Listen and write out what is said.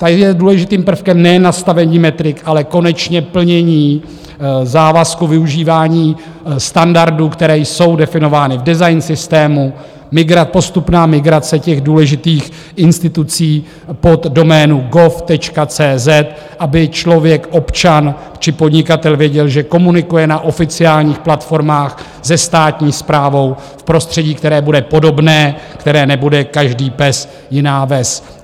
Tady je důležitým prvkem nejen nastavení metrik, ale konečně plnění závazků, využívání standardů, které jsou definovány v design systému, postupná migrace těch důležitých institucí pod doménu gov.cz, aby člověk, občan či podnikatel, věděl, že komunikuje na oficiálních platformách se státní správou v prostředí, které bude podobné, které nebude každý pes jiná ves.